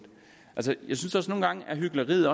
at hykleriet